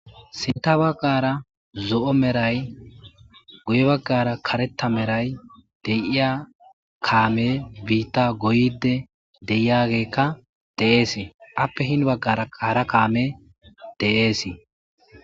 Sinta baggara zo'o meray guye baggara karetta meray deyiya kaame biitta goyide deiyageekka deeesi appe hin baggara qaara kaame de'eesii.